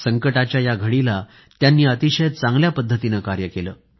संकटाच्या या घडीला त्यांनी अतिशय उत्तम कार्य केलं